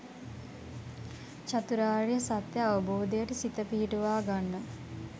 චතුරාර්ය සත්‍ය අවබෝධයට සිත පිහිටුවා ගන්න.